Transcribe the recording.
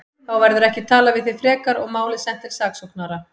Þá verður ekki talað við þig frekar og málið sent til saksóknara.